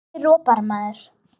Af hverju ropar maður?